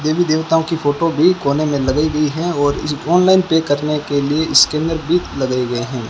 देवी देवताओं की फोटो भी कोने में लगाई गई है और ऑनलाइन पे करने के लिए इसके अंदर भी लगाए गए हैं।